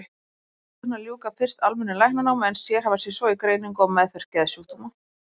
Geðlæknar ljúka fyrst almennu læknanámi en sérhæfa sig svo í greiningu og meðferð geðsjúkdóma.